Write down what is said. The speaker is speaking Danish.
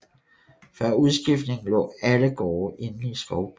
Før udskiftningen lå alle gårde inde i Skovby